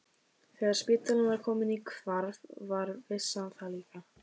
Þegar spítalinn var kominn í hvarf var vissan það líka.